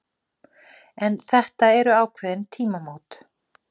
En þetta eru ákveðin tímamót